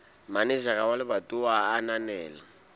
manejara wa lebatowa a ananela